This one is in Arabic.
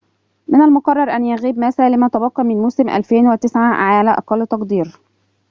من المُقرّر أن يغيب ماسا لما تبقى من موسم 2009 على أقل تقدير